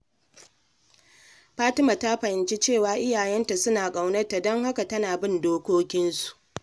Fatima ta fahimci cewa iyayenta suna ƙaunarta, don haka tana bin dokokinsu.